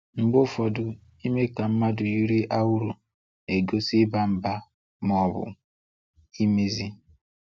Mgbe ụfọdụ ime ka mmadụ yiri awuru n'egosi iba mba, ma ọ bụ imezi.